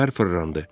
Pər fırlandı.